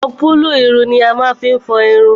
shampulu ìrùn ni a máá fi n fọ ìrùn.